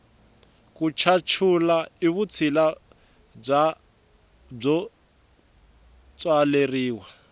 ku chachula i vutshila byo tswaleriwa